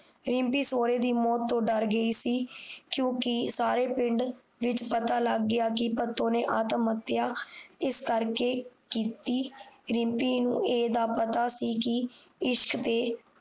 ਰਿਮਪੀ ਸੋਹਰੇ ਦੀ ਮੌਤ ਤੋਂ ਡਰ ਗਈ ਸੀ ਕਿਉਕਿ ਸਾਰੇ ਪਿੰਡ ਵਿੱਚ ਪਤਾ ਲੱਗ ਗਿਆ ਕਿ ਭਤੋ ਨੇ ਆਤਮ ਹਤਿਆ ਇਸ ਕਰਕੇ ਕੀਤੀ ਰਿਮਪੀ ਨੂੰ ਇਹ ਦਾ ਪਤਾ ਸੀ ਕਿ ਇਸ਼ਕ ਤੇ